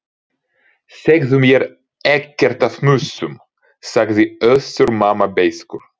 Segðu mér ekkert af mussum, sagði Össur-Mamma beiskur.